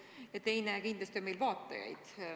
Ja teiseks, kindlasti on meil vaatajaid.